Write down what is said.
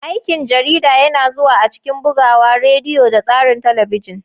Aikin jarida yana zuwa a cikin bugawa, rediyo, da tsarin talabijin.